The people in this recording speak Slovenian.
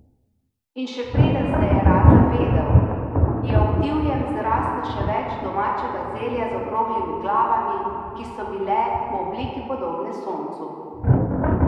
In še preden se je Ra zavedel, je ob divjem zraslo še več vrst domačega zelja z okroglimi glavami, ki so bile po obliki podobne soncu.